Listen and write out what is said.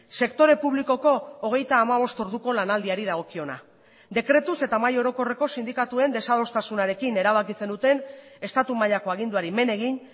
sektore publikoko hogeita hamabost orduko lanaldiari dagokiona dekretuz eta mahai orokorreko sindikatuen desadostasunarekin erabaki zenuten estatu mailako aginduari men egin